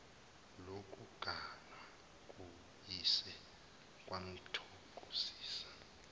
lokuganwa kuyise kwamthokozisa